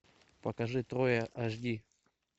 покажи троя аш ди